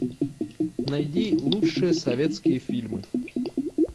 найди лучшие советские фильмы